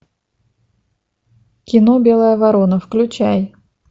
кино белая ворона включай